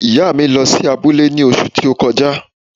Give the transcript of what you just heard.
ìyá à mi lọ́ sí abule ní òṣù ti o kọjá.